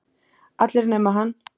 Allir nema hann.